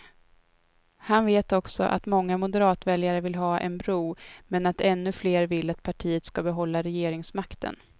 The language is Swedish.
Han vet också att många moderatväljare vill ha en bro, men att ännu fler vill att partiet ska behålla regeringsmakten.